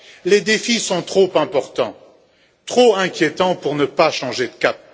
Les défis sont trop importants, trop inquiétants pour ne pas changer de cap.